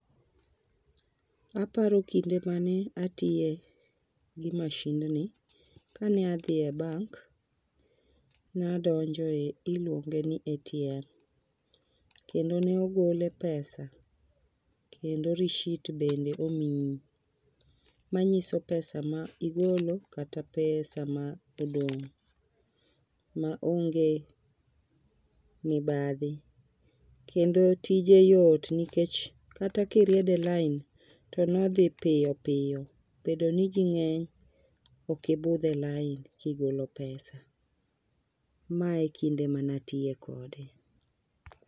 Aparo kinde mane atiye gi mashindni ka ne adhi e bank nadonjo e iluonge ni atm kendo ne ogole pesa kendo rishit bende omiyi manyioso pesa ma igolo kata pesa ma odong', maonge mibadhi. Kendo tije yot nikech kata kiriedo e lain to nodhi piyo piyo bedo ni ji ng'eny ok ibudh e lain kigolo pesa. Ma e kinde manatiye kode.